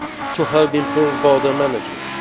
region to help improve border management.